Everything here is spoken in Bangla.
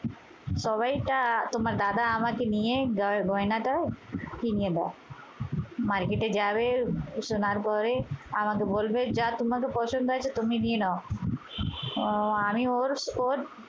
সবাই এটা তোমার দাদা আমাকে নিয়ে এই গয়নাটা কিনে দেয়। মার্কেটে যাবে সোনার পরে আমাকে বলবে যা তোমাকে পছন্দ হয়েছে তুমি নিয়ে নাও। ও আমি ওর ওর